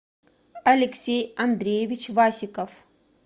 алексей андреевич васиков